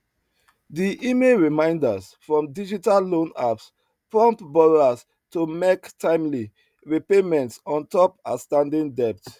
di email reminders from digital loan apps prompt borrowers to mek timely repayments on top outstanding debt